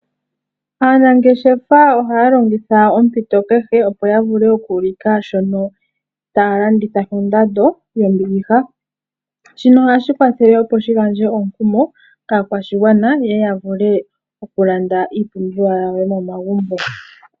Aanangeshefa ohaya longitha ompito kehe, opo ya vule oku ulika shono taya landitha ko ndando yo mbiliha. Shino ohashi kwathela, opo shi gandje omu kumo kaa kwashi gwana, yeye ya vule oku landa iipumbiwa yawo yo mo magumbo.